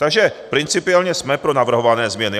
Takže principiálně jsme pro navrhované změny.